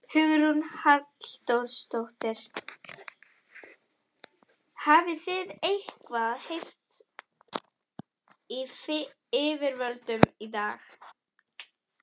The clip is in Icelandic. Hugrún Halldórsdóttir: Hafið þið eitthvað heyrt í yfirvöldum í dag?